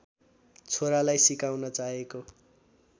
छोरालाई सिकाउन चाहेको